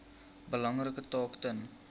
belangrike taak ten